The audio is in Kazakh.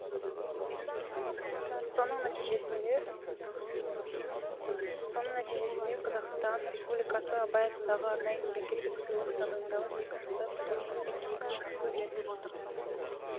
соның нәтижесінде қазақстан республикасы абай атындағы арнайы мемлекеттік сыйлық тағайындалып екі жылда бір рет үздік екі шығармаға беріліп отырды